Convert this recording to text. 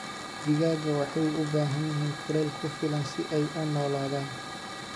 Digaagga waxay u baahan yihiin kulayl ku filan si ay u noolaadaan.